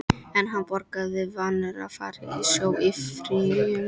En hann borgaði, vanur að fara á sjó í fríum.